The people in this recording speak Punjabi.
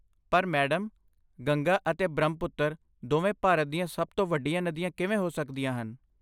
ਪਰ ਮੈਡਮ, ਗੰਗਾ ਅਤੇ ਬ੍ਰਹਮਪੁੱਤਰ ਦੋਵੇਂ ਭਾਰਤ ਦੀਆਂ ਸਭ ਤੋਂ ਵੱਡੀਆਂ ਨਦੀਆਂ ਕਿਵੇਂ ਹੋ ਸਕਦੀਆਂ ਹਨ?